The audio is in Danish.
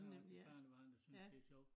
Jeg har også et barnebarn der synes det er sjovt